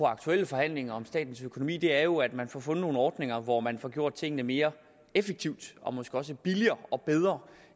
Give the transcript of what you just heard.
aktuelle forhandlinger om statens økonomi er jo at man får fundet nogle ordninger hvor man får gjort tingene mere effektivt og måske også billigere og bedre